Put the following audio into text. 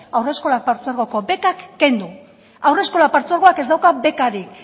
haurreskola partzuegoko bekak kendu haurreskola partzuegoak ez dauka bekarik